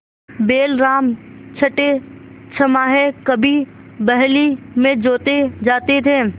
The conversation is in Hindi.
बैलराम छठेछमाहे कभी बहली में जोते जाते थे